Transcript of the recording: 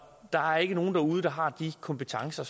der er ikke nogen derude der har de kompetencer